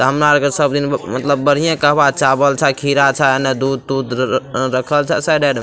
हमरा अर के सब दिन मतलब बढ़िये कहबा चावल छअ खीरा छअ एने दूध-तुध र र रखल छअ साइड --